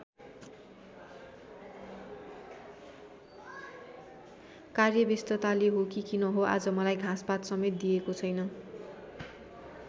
कार्यव्यस्तताले हो कि किन हो आज मलाई घाँसपात समेत दिएको छैन।